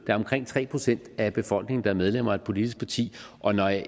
er omkring tre procent af befolkningen der er medlemmer af et politisk parti og når jeg